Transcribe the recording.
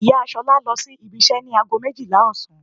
Ìyá Ṣolá lọ sí ibi iṣẹ́ ní ago méjìlá ọ̀sán.